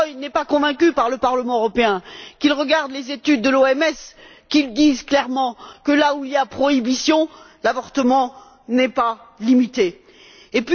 Rajoy n'est pas convaincu par le Parlement européen, qu'il regarde les études de l'OMS, qui disent clairement que là où il y a prohibition, l'avortement n'est pas limité pour autant.